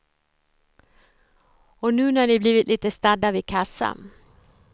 Och nu när ni blivit lite stadda vid kassa.